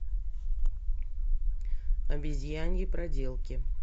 обезьяньи проделки